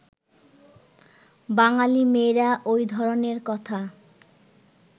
বাঙালি মেয়েরা ওই ধরনের কথা